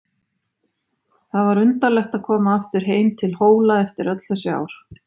Það var undarlegt að koma aftur heim til Hóla eftir öll þessi ár.